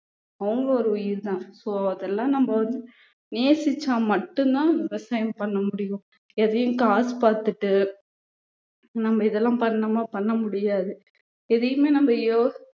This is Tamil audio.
அவங்க ஒரு உயிர்தான் so அதெல்லாம் நம்ம வந்து நேசிச்சா மட்டும்தான் விவசாயம் பண்ண முடியும் எதையும் காசு பார்த்துட்டு நம்ம இதெல்லாம் பண்ணோமா பண்ண முடியாது எதையுமே நம்ம யோ~